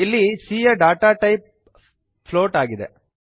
ಇಲ್ಲಿ C ಯ data type float ಆಗಿದೆ